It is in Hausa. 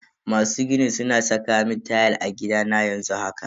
Masu ginin suna saka mun tayal a gidana yanzu haka.